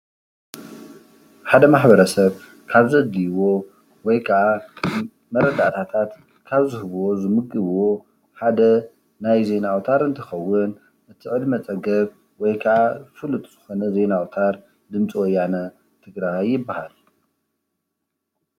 ሓደ ማሕ/ሰብ ካብ ዘድልይዎ ወይ ከዓ መረዳእታት ካብ ዝውዎ ዝምግብዎ ሓደ ናይ ዜና ኣውታር እንትከውን ምስ ዕድመ ፀገብ ወይ ካዓ ፍሕጥ ዝኮነ ዜና ኣውታር ድምፂ ወያነ ትግራይ ይብሃል።